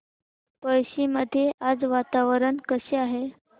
पळशी मध्ये आज वातावरण कसे आहे